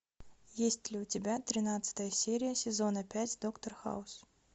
есть ли у тебя тринадцатая серия сезона пять доктор хаус